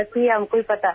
He died in an accident